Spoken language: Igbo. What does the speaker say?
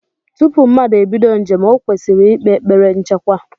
Tupu mmadu ebido njem, ọ kwesịrị ikpe ekpere nchekwa.